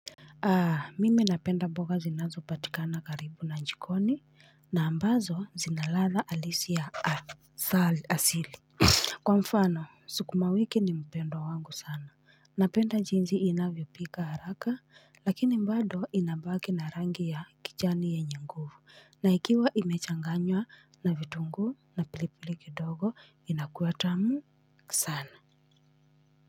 Mimi napenda mboga zinazopatikana karibu na jikoni na ambazo zina ladha halisi ya asili. Kwa mfano, sukumawiki ni mpendwa wangu sana. Napenda jinsi inavyopika haraka, lakini bado inabaki na rangi ya kijani yenye nguvu. Na ikiwa imechanganywa na vitunguu na pilipili kidogo, inakuwa tamu sana.